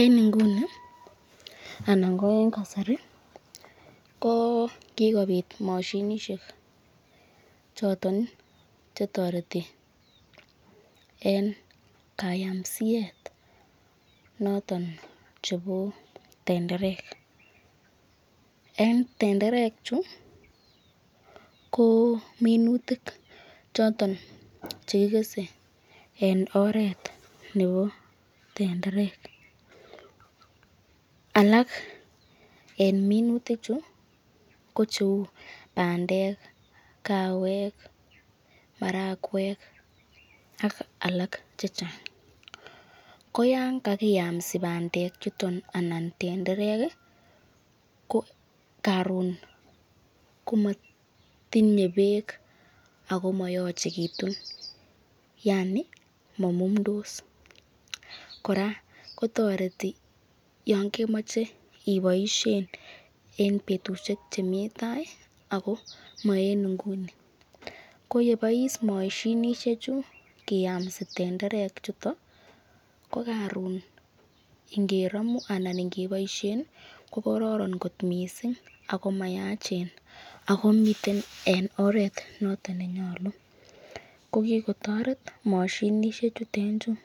En Nguni anan Koen kasari koo kikobit moshinishek choton ii chetoretu en kayamsiet choton chebo tenderek en tendere chuu kominutik choton che kikese en oret nebo tenderek alak en minutik chuu ko cheu bandeki kaawek marakwek ak alak chechang koyanga kakiyamsi bande chuto anan tendereki ko koron komotinye beek Ako moyochekitun Yani manundos kora kotoreti Yoon kemoche iboishen en betushek chemi taa Ako moenguni koyebois moshinishek chuu kiyamsi tenderechuto ko karon ngeromu anan ngeboisheni ko kororon mising ako mayachen Ako miten en oret noton nenyolu kokikotoret moshinishek chuten chuu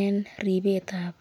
en ripetab